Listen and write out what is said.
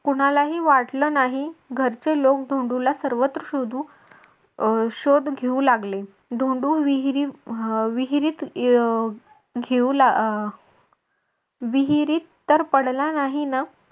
कुणालाही वाटलं नाही घरचे लोक धोंडूला सर्वत्र शोधू अं शोध घेऊ लागले धोंडू विहिरीत अं विहिरीत घेऊ लाग अह विहिरीत तर पडला नाही ना